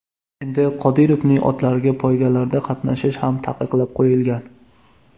Endi Qodirovning otlariga poygalarda qatnashish ham taqiqlab qoyilgan.